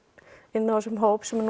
inn á þessum hóp sem